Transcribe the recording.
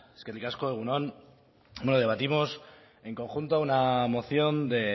eskerrik asko egun on bueno debatimos en conjunto una moción de